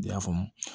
I y'a faamu